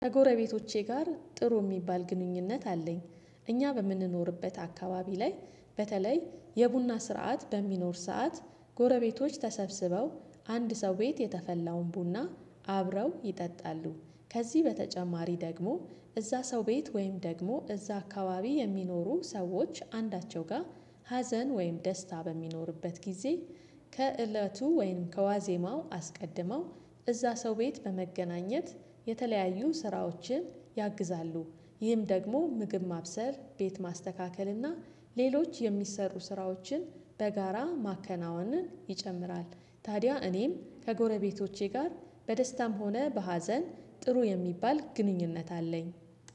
ከጎረቤቶቼ ጋር ጥሩ የሚባል ግንኙነት አለኝ። እኛ በምንኖርበት አካባቢ ላይ በተለይ የቡና ስርዓት በሚኖር ሰዓት ጎረቤቶች ተሰብስበው አንድ ሰው ቤት የተፈላውን ቡና አብረው ይጠጣሉ። ከዚህ በተጨማሪ ደግሞ እዛ ሰው ቤት ወይም ደግሞ እዛ አካባቢ የሚኖሩ ሰዎች አንዳቸው ጋር ሀዘን ወይም ደስታ በሚኖርበት ጊዜ ከእለቱ ወይም ከዋዜማው አስቀድመው እዛ ሰው ቤት በመገናኘት የተለያዩ ስራዎችን ያግዛሉ። ይህም ደግሞ ምግብ ማብሰር ቤት ማስተካከል እና ሌሎች የሚሰሩ ስራዎችን በጋራ ማከናወንን ይጨምራል። ታዲያ እኔም ከጎረቤቶቼ ጋር በደስታም ሆነ በሀዘን ጥሩ የሚባል ግንኙነት አለኝ